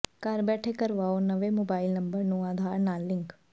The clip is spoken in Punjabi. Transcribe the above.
ਘਰ ਬੈਠੇ ਕਰਵਾਓ ਨਵੇਂ ਮੋਬਾਇਲ ਨੰਬਰ ਨੂੰ ਆਧਾਰ ਨਾਲ ਲਿੰਕ